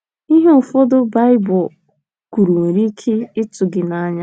Ihe ụfọdụ Baịbụl kwuru nwere ike ịtụ gị n’anya.